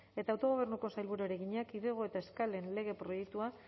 eta autogobernuko sailburuari egina kidego eta eskalen lege proiektua